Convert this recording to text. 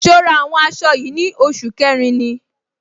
So ra àwọn aṣọ yìí ní oṣù kẹrin ni?